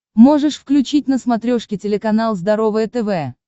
можешь включить на смотрешке телеканал здоровое тв